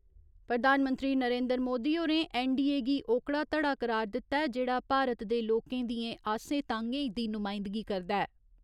प्रधानमंत्री नरेन्द्र मोदी होरें ऐन्नडीए गी ओकड़ा धड़ा करार दित्ता ऐ जेहड़ा भारत दे लोकें दिएं आसें तांह्‌गें दी नुमाइंदगी करदा ऐ।